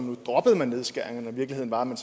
nu droppede nedskæringerne virkeligheden var at man